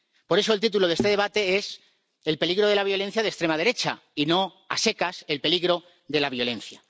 Por eso el título de este debate es el peligro de la violencia de extrema derecha y no a secas el peligro de la violencia.